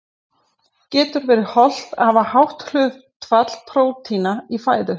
Getur verið óhollt að hafa hátt hlutfall prótína í fæðu?